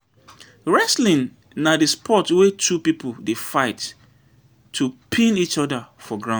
Wrestling na di sport wey two pipo dey fight to pin eachoda for ground.